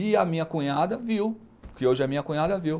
E a minha cunhada viu, porque hoje a minha cunhada viu.